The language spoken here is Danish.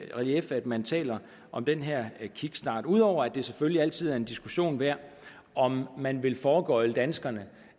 i relief at man taler om den her kickstart ud over at det selvfølgelig altid er en diskussion værd om man vil foregøgle danskerne